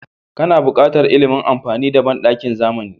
Kana buƙatar ilimin amfani da banɗakin zamani.